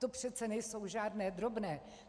To přece nejsou žádné drobné!